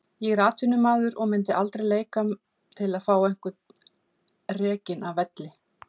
Ég er atvinnumaður og myndi aldrei leika til að fá einhvern rekinn af velli.